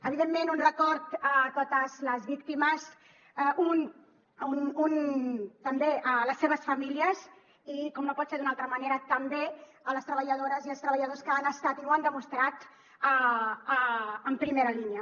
evidentment un record a totes les víctimes un també a les seves famílies i com no pot ser d’una altra manera també a les treballadores i els treballadors que han estat i ho han demostrat en primera línia